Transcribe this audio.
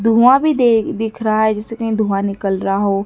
धुआँ भी दे दिख रहा है जैसे कहीं धुआँ निकल रहा हो।